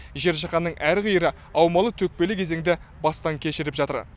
жер жаһанның әр қиыры аумалы төкпелі кезеңді бастан кешіріп жатыр